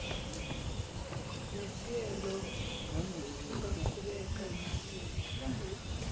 nesieelo angaqhubeka nesieelo